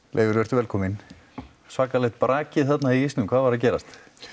Leifur vertu velkominn svakalegt brakið þarna í ísnum hvað var að gerast